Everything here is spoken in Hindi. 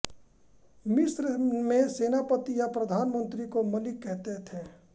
मिस्र में सेनापति या प्रधानमंत्री को मलिक कहते थे